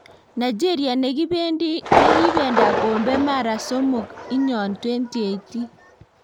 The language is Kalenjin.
Nigeria ne kibenda kombe mara somok inyon 2018.